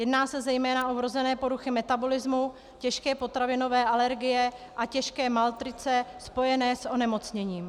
Jedná se zejména o vrozené poruchy metabolismu, těžké potravinové alergie a těžké malnutrice spojené s onemocněním.